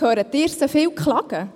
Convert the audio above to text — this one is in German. Hören Sie sie oft klagen?